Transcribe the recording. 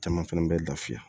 Caman fɛnɛ bɛ lafiya